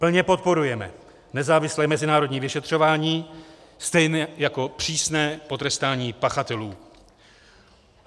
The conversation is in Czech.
Plně podporujeme nezávislé mezinárodní vyšetřování stejně jako přísné potrestání pachatelů.